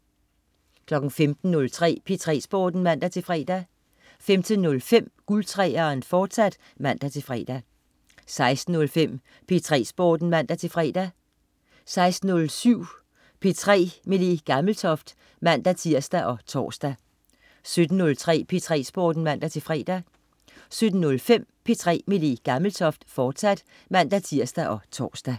15.03 P3 Sporten (man-fre) 15.05 Guld 3'eren, fortsat (man-fre) 16.05 P3 Sporten (man-fre) 16.07 P3 med Le Gammeltoft (man-tirs og tors) 17.03 P3 Sporten (man-fre) 17.05 P3 med Le Gammeltoft, fortsat (man-tirs og tors)